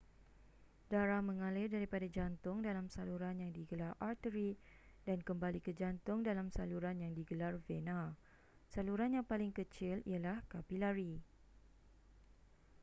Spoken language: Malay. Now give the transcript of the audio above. darah mengalir daripada jantung dalam saluran yang digelar arteri dan kembali ke jantung dalam saluran yang digelar vena saluran yang paling kecil ialah kapilari